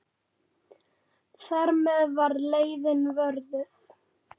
Þar með var leiðin vörðuð.